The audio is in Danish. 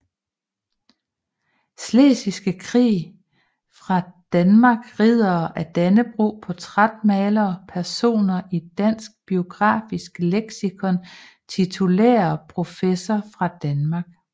Slesvigske Krig fra Danmark Riddere af Dannebrog Portrætmalere Personer i Dansk Biografisk Leksikon Titulære professorer fra Danmark